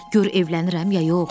Gör evlənirəm ya yox.